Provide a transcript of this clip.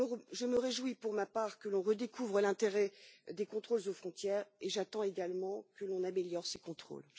Je me réjouis, pour ma part, que l'on redécouvre l'intérêt des contrôles aux frontières et j'attends également que l'on améliore ces contrôles.